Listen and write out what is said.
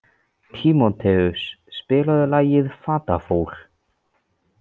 Tímóteus, spilaðu lagið „Fatlafól“.